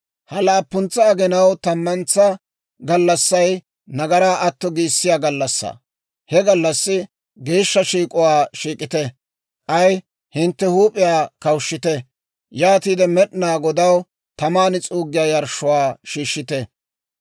«Ha laappuntsa aginaw tammantsa gallassay nagaraa atto giissiyaa gallassaa; he gallassi geeshsha shiik'uwaa shiik'ite; k'ay hintte huup'iyaa kawushshite; yaatiide Med'inaa Godaw taman s'uuggiyaa yarshshuwaa shiishshite.